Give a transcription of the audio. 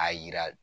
A yira